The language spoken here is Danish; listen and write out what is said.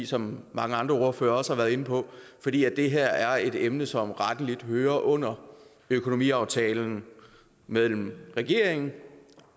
som mange andre ordførere også har været inde på fordi det her er et emne som rettelig hører under økonomiaftalen mellem regeringen